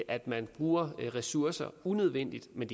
at man bruger ressourcer unødvendigt men